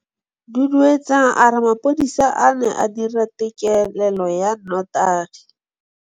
Duduetsang a re mapodisa a ne a dira têkêlêlô ya nnotagi.